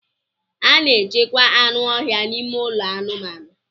A na-echekwa anụ ọhịa n'ime ụlọ anụmanụ.